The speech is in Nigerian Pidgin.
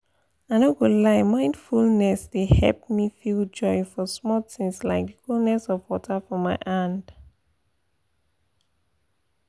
i no go lie mindfulness dey help me feel joy for small things like the coolness of water for my hand